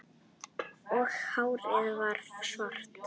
Og hárið varð svart